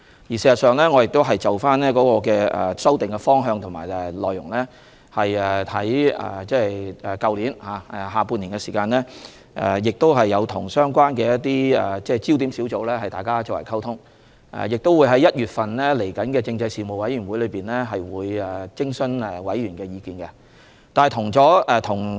事實上，我們已就修訂的方向及內容，在去年下半年與相關的焦點小組進行溝通，我們亦會在1月的政制事務委員會會議上徵詢委員的意見。